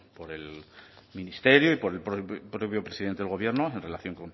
por el ministerio y por el propio presidente del gobierno en relación